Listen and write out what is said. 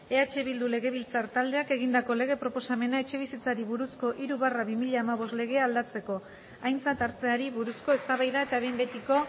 eh bildu legebiltzar taldeak egindako lege proposamena etxebizitzari buruzko hiru barra bi mila hamabost legea aldatzeko aintzat hartzeari buruzko eztabaida eta behin betiko